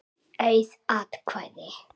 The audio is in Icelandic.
Auð atkvæði